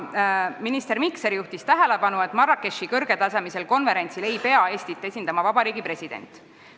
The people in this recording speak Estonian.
Minister Mikser juhtis tähelepanu, et Marrakechi kõrgetasemelisel konverentsil ei pea Eestit esindama vabariigi president.